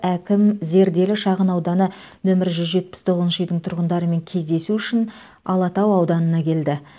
әкім зерделі шағынауданы нөмір жүз жетпіс тоғызыншы үйдің тұрғындарымен кездесу үшін алатау ауданына келді